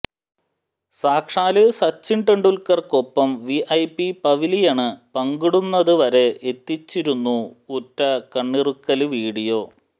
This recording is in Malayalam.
സാക്ഷാല് സച്ചിന് ടെന്ഡുല്ക്കര്ക്കൊപ്പം വിഐപി പവിലിയണ് പങ്കിടുന്നത് വരെ എത്തിച്ചിരുന്നു ഒറ്റ കണ്ണിറുക്കല് വീഡിയോ